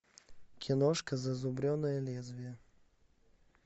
киношка зазубренное лезвие